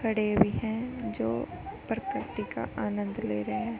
खड़े भी हैं जो प्रकृति का आनंद ले रहे --